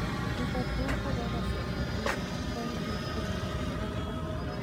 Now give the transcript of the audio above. Liverpool kokasir Fabinho ak poundit millinishek 40.